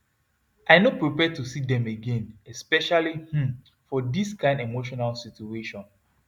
i no prepare to see dem again especially um for this kain emotional situation